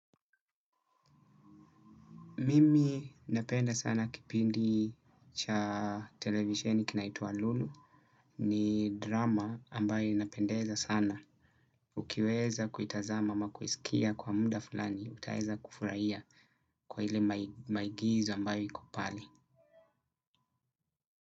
Mimi napenda sana kipindi cha televisheni kinaitwa Lulu. Ni drama ambayo inapendeza sana. Ukiweza kuitazama, ama kuisikia kwa muda fulani. Utaweza kufurahia, kwa ile maigizo ambayo iko pale.